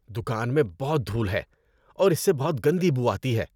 دکان میں بہت دھول ہے اور اس سے بہت گندی بو آتی ہے۔